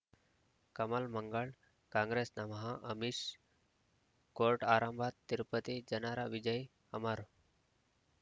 ಕಮಲ್ ಮಂಗಳ್ ಕಾಂಗ್ರೆಸ್ ನಮಃ ಅಮಿಷ್ ಕೋರ್ಟ್ ಆರಂಭ ತಿರುಪತಿ ಜನರ ವಿಜಯ ಅಮರ್